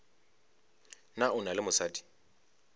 na o na le mosadi